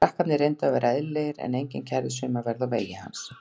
Krakkarnir reyndu að vera eðlilegir en enginn kærði sig um að verða á vegi hans.